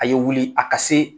A ye wuli a ka se